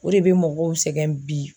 O de bɛ mɔgɔw sɛgɛn bi.